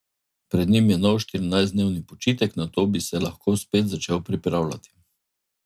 Pred njim je nov štirinajstdnevni počitek, nato bi se lahko spet začel pripravljati.